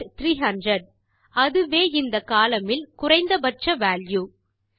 result 300 அதுவே இந்த column இல் குறைந்த பட்ச வால்யூ